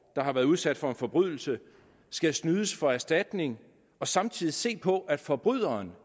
har været udsat for en forbrydelse skal snydes for erstatning og samtidig se på at forbryderen